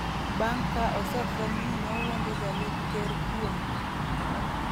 bang’ ka osefweny ni nowuondo jalup ker kuom